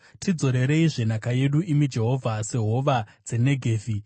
Tidzorereizve nhaka yedu, imi Jehovha, sehova dzeNegevhi.